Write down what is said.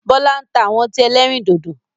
Bọlá ń ta àwọn ọtí ẹlẹ́rìndòdò